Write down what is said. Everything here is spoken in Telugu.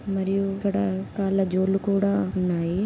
మరియు ఇక్కడ కాళ్ళ జోళ్లు కూడా ఉన్నాయి.